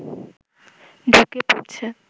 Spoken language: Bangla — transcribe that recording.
ঢুকে পড়ছে